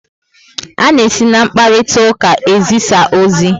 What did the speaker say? A na esi na mkparitauka ezisa ozi